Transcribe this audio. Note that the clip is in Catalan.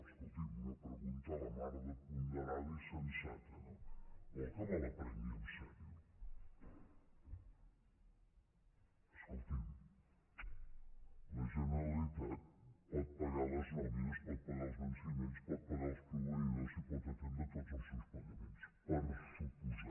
escolti’m una pregunta la mar de ponderada i sensata no vol que me la prengui seriosament escolti’m la generalitat pot pagar les nòmines pot pagar els venciments pot pagar els proveïdors i pot atendre tots els seus pagaments per descomptat